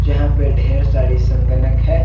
जहां पे ढेर सारी संगणक है।